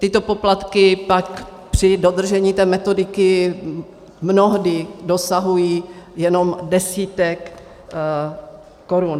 Tyto poplatky pak při dodržení té metodiky mnohdy dosahují jenom desítek korun.